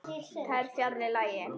Það er fjarri lagi.